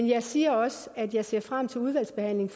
jeg siger også at jeg ser frem til udvalgsbehandlingen